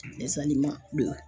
Dɛsɛli ma.